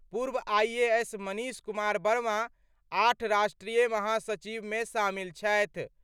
पूर्व आईएएस मनीष कुमार वर्मा आठ राष्ट्रीय महासचिवमे शामिल छथि।